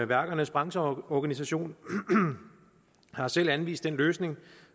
værkernes brancheorganisation har selv anvist den løsning